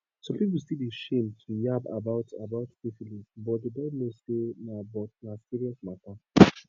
some people still dey shame to yarb about about syphilis but they dont know say na but na serious matter